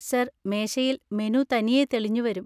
Sir, മേശയിൽ menu തനിയെ തെളിഞ്ഞു വരും.